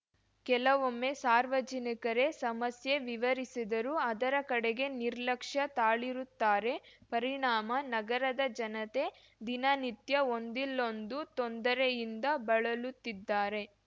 ಕೆಲವೊಮ್ಮೆ ಸಾರ್ವಜನಿಕರೇ ಸಮಸ್ಯೆ ವಿವರಿಸಿದರೂ ಅದರ ಕಡೆಗೆ ನಿರ್ಲಕ್ಯ ತಾಳಿರುತ್ತಾರೆ ಪರಿಣಾಮ ನಗರದ ಜನತೆ ದಿನನಿತ್ಯ ಒಂದಿಲ್ಲೊಂದು ತೊಂದರೆಯಿಂದ ಬಳಲುತ್ತಿದ್ದಾರೆ